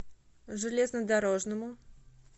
железнодорожному